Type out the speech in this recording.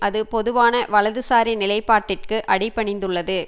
அது பொதுவான வலதுசாரி நிலைப்பாட்டிற்கு அடிபணிந்துள்ளது